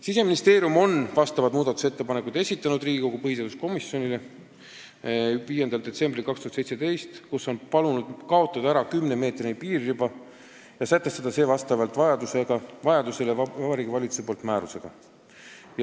" Siseministeerium esitas 5. detsembril 2017 Riigikogu põhiseaduskomisjonile muudatusettepanekud, kus on palunud tühistada 10-meetrise piiririba ja sätestada see vastavalt vajadusele Vabariigi Valitsuse määrusega.